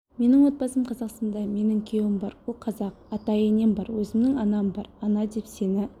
менің отбасым қазақстанда менің күйеуім бар ол қазақ ата-енем бар өзімнің анам бар ана деп сені